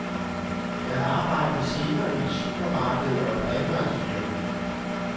Jeg arbejdede senere i et supermarked og et rengøringsfirma.